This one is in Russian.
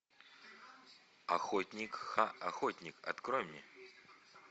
охотник х охотник открой мне